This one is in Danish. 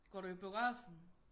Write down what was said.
Går du i biografen?